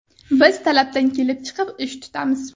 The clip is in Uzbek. Biz talabdan kelib chiqib, ish tutamiz.